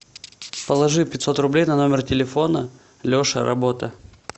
положи пятьсот рублей на номер телефона леша работа